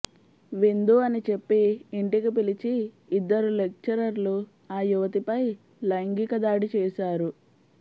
విందు అని చెప్పి ఇంటికి పిలిచి ఇద్దరు లెక్చరర్లు ఆ యువతిపై లైంగిక దాడి చేసారు